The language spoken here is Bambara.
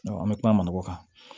an bɛ kuma o kan